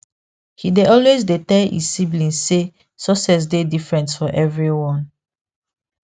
he dey always dey tell e siblings say success dey different for everyone